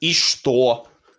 и что